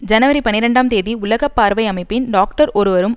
ஜனவரி பனிரெண்டாம் தேதி உலக பார்வை அமைப்பின் டாக்டர் ஒருவரும்